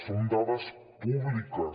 són dades públiques